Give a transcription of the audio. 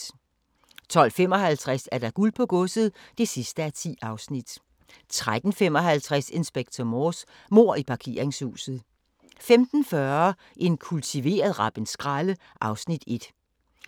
12:55: Guld på Godset (10:10) 13:55: Inspector Morse: Mord i parkeringshuset 15:40: En kultiveret rappenskralde (Afs. 1)